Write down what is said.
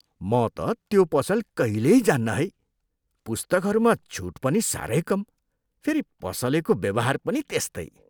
म त त्यो पसल कहिल्यै जान्न है! पुस्तकहरूमा छुट पनि साह्रै कम। फेरि पसलेको व्यवहार पनि त्यस्तै!